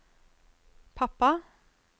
pappa